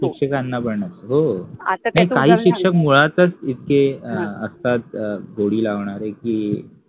शिक्षकाना पन असते, हो, काहि शिक्षक मुळातच इतके अ असतात गोडि लावनारे कि